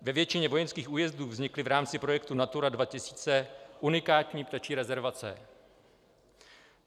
Ve většině vojenských újezdů vznikly v rámci projektu Natura 2000 unikátní ptačí rezervace.